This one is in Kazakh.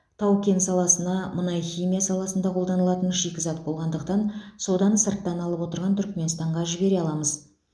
тау кен саласына мұнай химия саласында қолданылатын шикізат болғандықтан соданы сырттан алып отырған түркіменстанға жібере аламыз